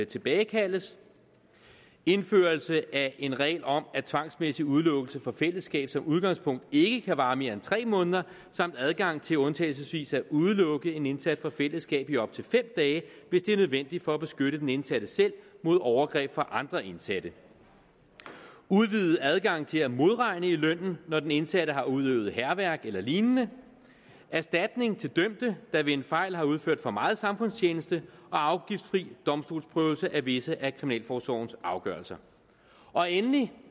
tilbagekaldes indførelse af en regel om at tvangsmæssig udelukkelse fra fællesskabet som udgangspunkt ikke kan vare mere end tre måneder samt adgang til undtagelsesvis at udelukke en indsat fra fællesskabet i op til fem dage hvis det er nødvendigt for at beskytte den indsatte selv mod overgreb fra andre indsatte udvidet adgang til at modregne i lønnen når den indsatte har udøvet hærværk eller lignende erstatning til dømte der ved en fejl har udført for meget samfundstjeneste og afgiftsfri domstolsprøvelse af visse af kriminalforsorgens afgørelser endelig